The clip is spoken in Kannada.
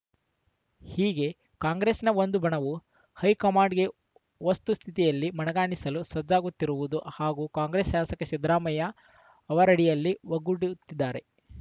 ಹೀಗೆ ಕಾಂಗ್ರೆಸ್‌ನ ಒಂದು ಬಣವು ಹೈಕಮಾಂಡ್‌ಗೆ ವಸ್ತುಸ್ಥಿತಿಯಲ್ಲಿ ಮನಗಾಣಿಸಲು ಸಜ್ಜಾಗುತ್ತಿರುವುದರ ಹಾಗೂ ಕಾಂಗ್ರೆಸ್‌ ಶಾಸಕರು ಸಿದ್ದರಾಮಯ್ಯ ಅವರಡಿಯಲ್ಲಿ ಒಗ್ಗೂಡು ತ್ತಿದ್ದಾರೆ